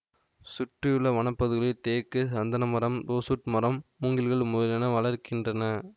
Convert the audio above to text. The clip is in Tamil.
சுற்றியுள்ள வனப்பகுதிகளில் தேக்கு சந்தனமரம் ரோசுவுட் மரம் மூங்கில்கள் முதலியன வளர்கின்றன